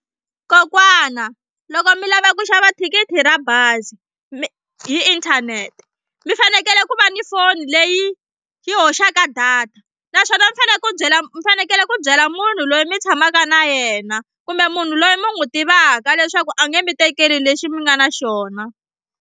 Kokwana loko mi lava ku xava thikithi ra bazi mi hi inthanete mi fanekele ku va ni foni leyi yi hoxaka data naswona mi fanele ku byela mi fanekele ku byela munhu loyi mi tshamaka na yena kumbe munhu loyi mi n'wi tivaka leswaku a nge mi tekeli lexi mi nga na xona.